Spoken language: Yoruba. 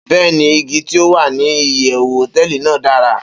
Beeni, igi ti o wa ni iyewu hoteeli nàá dara